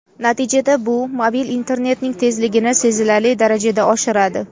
Natijada bu mobil internetning tezligini sezilarli darajada oshiradi.